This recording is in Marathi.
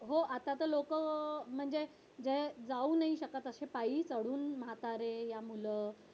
हो आता तर लोक म्हणजे जे जाऊ नाही शकत पायी वगैरे चढून म्हातारे या मुलं